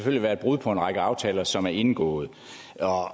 vil være et brud på en række aftaler som er indgået